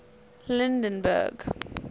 lydenburg